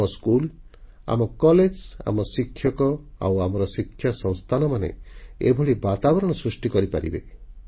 ଆମ ସ୍କୁଲ ଆମ କଲେଜ ଆମ ଶିକ୍ଷକ ଆଉ ଆମର ଶିକ୍ଷା ସଂସ୍ଥାନମାନେ ଏଭଳି ବାତାବରଣ ସୃଷ୍ଟି କରିପାରିବେ